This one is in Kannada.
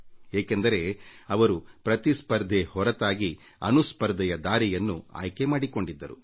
ಏಕೆಂದರೆ ಅವರು ಪ್ರತಿಸ್ಪರ್ಧೆ ಹೊರತಾಗಿ ಅನುಸ್ಪರ್ಧೆಯ ದಾರಿಯನ್ನು ಆಯ್ಕೆ ಮಾಡಿಕೊಂಡಿದ್ದರು